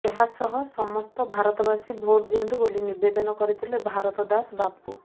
ଏହାସହ ସମସ୍ତ ଭାରତବାସୀ ଭୋଟ ଦିଅନ୍ତୁ ବୋଲି ନିବେଦନ କରିଥିଲେ ଭାରତଦାସ ବାପୁ